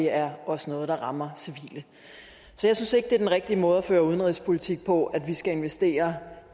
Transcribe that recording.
er også noget der rammer civile så jeg synes ikke at det er den rigtige måde at føre udenrigspolitik på altså at vi skal investere